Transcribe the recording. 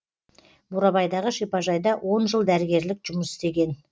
бурабайдағы шипажайда он жыл дәрігерлік жұмыс істеген